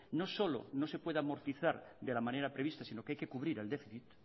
no solo no se pueda amortizar de la manera prevista sino que hay que cubrir el déficit